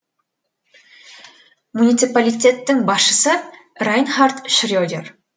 муниципалитеттің басшысы райнхард шредер